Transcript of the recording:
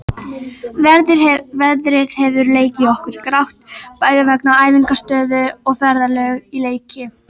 Veðrið hefur leikið okkur grátt, bæði vegna æfingaaðstöðu og ferðalög í leiki.